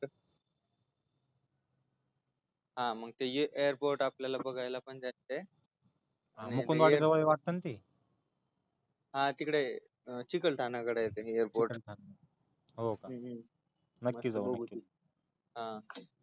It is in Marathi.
हा मग ते एअरपोर्ट आपल्याला बघायला पण जायचय हा तिकडे चिखलठाण्याकडे ते एअरपोर्ट हो का नक्की हा